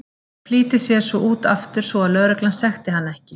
Flýtir sér svo út aftur svo að lögreglan sekti hann ekki.